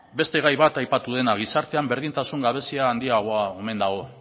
beste gai bat aipatu dena gizartean berdintasun gabezia handiagoa omen dago